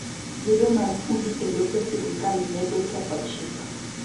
Gedo mag udi e lope sirkal medo ketho chik.